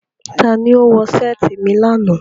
Tani o wọ seeti mi lana?